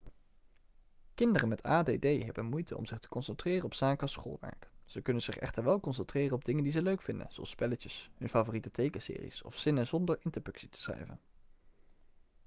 kinderen met add hebben moeite om zich te concentreren op zaken als schoolwerk ze kunnen zich echter wel concentreren op dingen die ze leuk vinden zoals spelletjes hun favoriete tekenseries of zinnen zonder interpunctie schrijven